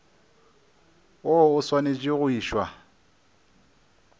woo o swanetše go išwa